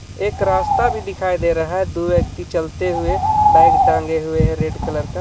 एक रास्ता भी दिखाई दे रहा है दो व्यक्ति चलते हुए बैग टांगे हुए है रेड कलर का.